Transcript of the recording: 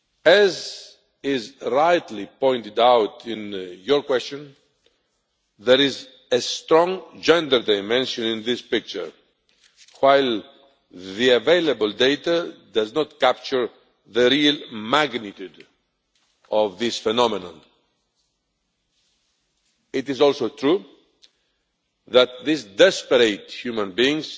As is rightly pointed out in your question, there is a strong gender dimension in this picture, while the available data does not capture the real magnitude of this phenomenon. It is also true that these desperate human beings